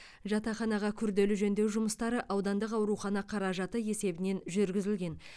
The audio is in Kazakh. жатақханаға күрделі жөндеу жұмыстары аудандық аурхана қаражаты есебінен жүргізілген